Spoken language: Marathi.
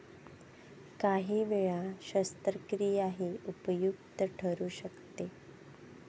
काही वेळ शस्त्रक्रियाही उपयुक्त ठरू शकते.